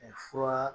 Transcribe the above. fura